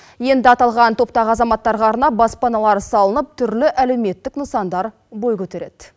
енді аталған топтағы азаматтарға арнап баспаналар салынып түрлі әлеуметтік нысандар бой көтереді